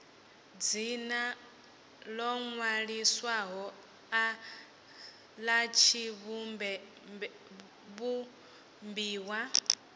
dzina ḽo ṅwaliswaho ḽa tshivhumbiwa